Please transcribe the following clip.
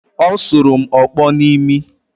Ọ sụrụ m ọkpọ n’imi